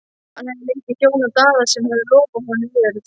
Hann hafði lengi þjónað Daða sem hafði lofað honum jörð.